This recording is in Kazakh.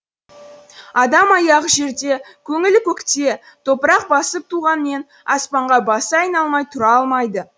адам аяғы жерде көңілі көкте топырақ басып туғанмен аспанға басы айналмай тұра алмайды